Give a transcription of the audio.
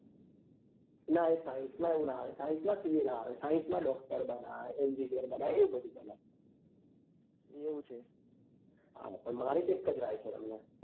નાં એ science એવું નાં આવે science માં ca નાં આવે science માં doctor બનાય engineer બનાય એવું બધું બનાય હા પણ મારી તો એક જ રાય છે તમને